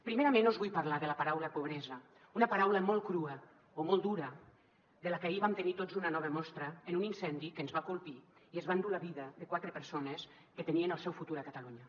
primerament us vull parlar de la paraula pobresa una paraula molt crua o molt dura de la que ahir vam tenir tots una nova mostra en un incendi que ens va colpir i es va endur la vida de quatre persones que tenien el seu futur a catalunya